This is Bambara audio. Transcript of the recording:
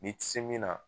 Ni ti se min na